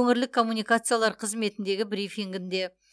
өңірлік коммуникациялар қызметіндегі брифингінде